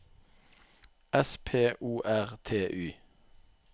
S P O R T Y